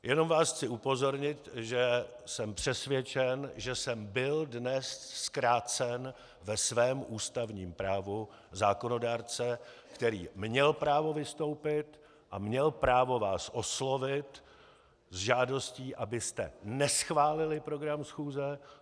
Jenom vás chci upozornit, že jsem přesvědčen, že jsem byl dnes zkrácen ve svém ústavním právu zákonodárce, který měl právo vystoupit a měl právo vás oslovit s žádostí, abyste neschválili program schůze.